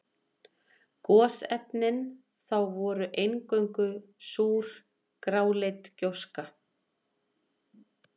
Gosefnin þá voru eingöngu súr, gráleit gjóska.